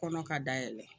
Kɔnɔ ka da yɛlɛ